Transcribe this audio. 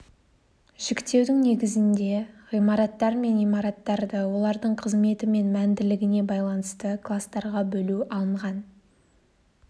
жіктеудің негізіне ғимараттар мен имараттарды олардың қызметі мен мәнділігіне байланысты кластарға бөлу алынған